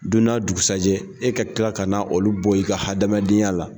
Don n'a dugusajɛ e ka kila ka na olu bɔ i ka hadamadenya la.